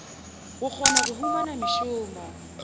go kgona go humana mešomo